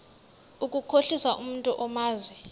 ukukhohlisa umntu omazi